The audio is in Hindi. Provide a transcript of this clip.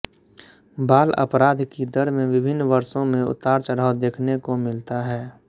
बाल अपराध की दर में विभिन्न वर्षो में उतारचढ़ाव देखने को मिलता है